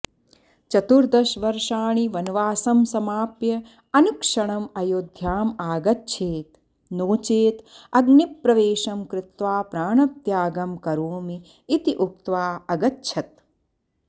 चतुर्दशवर्षाणि वनवासं समाप्य अनुक्षणम् अयोध्यामागच्छेत् नोचेत् अग्निप्रवेशं कृत्वा प्राणत्यागं करोमि इति उक्त्वा अगच्छत्